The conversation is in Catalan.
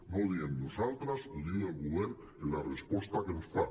no ho diem nosaltres ho diu el govern en la resposta que ens fa